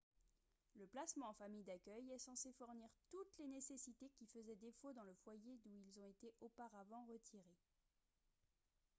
le placement en famille d'accueil est censé fournir toutes les nécessités qui faisaient défaut dans le foyer d'où ils ont été auparavant retirés